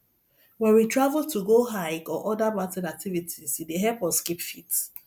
when we travel to go hike or oda mountain activites e dey help us keep fit